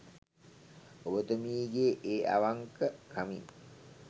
ඔබතුමීගේ ඒ අවංක කමින්